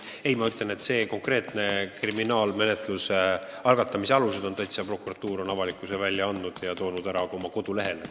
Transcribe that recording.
Aga konkreetse kriminaalmenetluse algatamise alused on prokuratuur avalikkusele teada andnud ja toonud ära ka oma kodulehel.